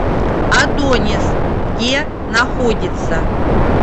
адонис где находится